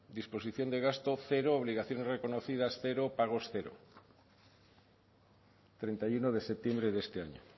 disposición de gasto cero obligaciones reconocidas cero pagos cero treinta y uno de septiembre de este año